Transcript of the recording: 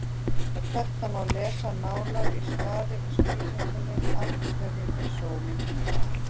Um þetta má lesa nánar í svari við spurningunni Af hverju er sólin heit?.